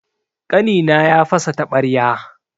Ƙanina ya fasa taɓarya.